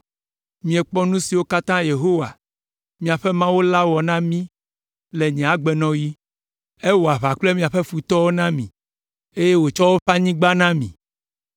Miekpɔ nu siwo katã Yehowa, miaƒe Mawu la wɔ na mi le nye agbenɔɣi. Ewɔ aʋa kple miaƒe futɔwo na mi, eye wòtsɔ woƒe anyigba na mi.